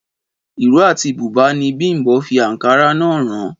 Ìró àti bùbá ni Bím̀bọ́ fi àǹkárá náà ran